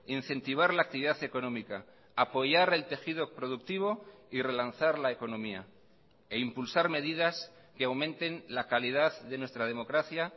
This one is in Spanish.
incentivar la actividad económica apoyar el tejido productivo y relanzar la economía e impulsar medidas que aumenten la calidad de nuestra democracia